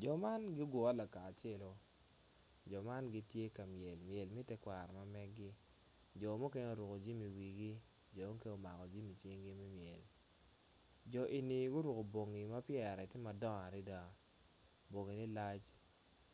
Jo man giogure lakacelo jo man gitye ka myel myel me tekwaro ma megi jo mukene oruko jami iwigi jo mukene omako jami icingi me myel jo eni guruko bongi ma pyere tye madongo adada bongine lac